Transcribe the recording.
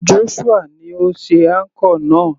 Joshua ni ó ṣe anchor náà.